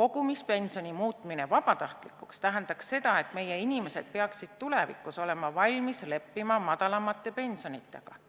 "Kogumispensioni muutmine vabatahtlikuks tähendaks seda, et meie inimesed peaksid tulevikus olema valmis leppima madalamate pensionitega.